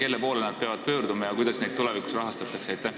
Kelle poole nad peavad pöörduma ja kuidas neid tulevikus rahastatakse?